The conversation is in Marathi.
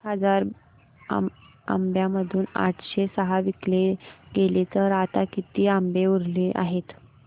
एक हजार आंब्यांमधून आठशे सहा विकले गेले तर आता किती आंबे उरले आहेत